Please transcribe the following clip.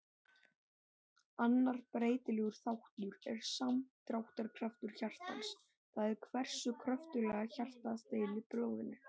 Annar breytilegur þáttur er samdráttarkraftur hjartans, það er hversu kröftuglega hjartað dælir blóðinu.